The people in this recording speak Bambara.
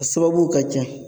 A sababuw ka ca.